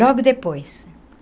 Logo depois.